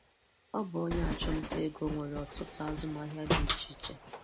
Ọ̀ bụ onye achụ̀mnta ègò nwere ọtụtụ azụmahịa dị iche iche.